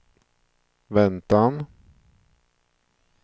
väntan